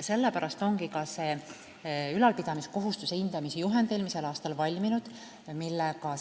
Sellepärast ongi olemas eelmisel aastal valminud ülalpidamiskohustuse hindamise juhend, millega